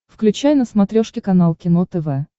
включай на смотрешке канал кино тв